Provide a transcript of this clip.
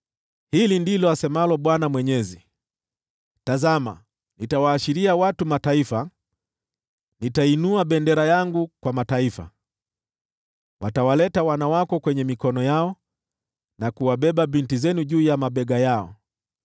Hili ndilo asemalo Bwana Mwenyezi: “Tazama, nitawaashiria watu wa Mataifa, nitainua bendera yangu kwa mataifa; watawaleta wana wako mikononi yao, na kuwabeba binti zenu juu ya mabega yao.